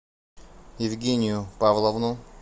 евгению павловну